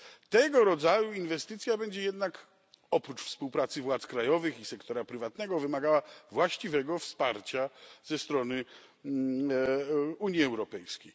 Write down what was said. Tego rodzaju inwestycja będzie jednak oprócz współpracy władz krajowych i sektora prywatnego wymagała właściwego wsparcia ze strony Unii Europejskiej.